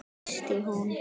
Snýst hún?